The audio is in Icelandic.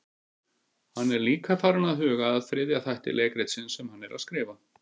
Hann er líka farinn að huga að þriðja þætti leikritsins sem hann er að skrifa.